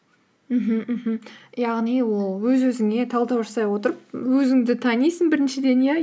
мхм мхм яғни ол өз өзіңе талдау жасай отырып өзіңді танисың біріншіден иә